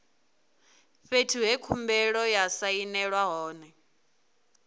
fhethu he khumbelo ya sainelwa hone